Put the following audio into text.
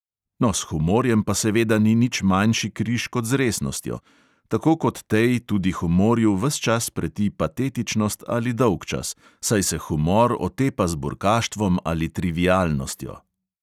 No, s humorjem pa seveda ni nič manjši križ kot z resnostjo: tako kot tej tudi humorju ves čas preti patetičnost ali dolgčas, saj se humor otepa z burkaštvom ali trivialnostjo.